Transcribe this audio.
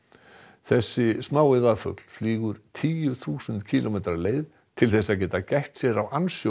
þessi smái flýgur tíu þúsund kílómetra leið til þess að geta gætt sér á